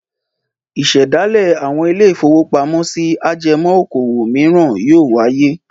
Ìṣẹ̀dálẹ̀ àwọn ilé-ìfowópamọ́sí ajẹmọ́ okòwò mìíràn yóò wáyé.